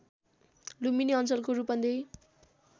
लुम्बिनी अञ्चलको रूपन्देही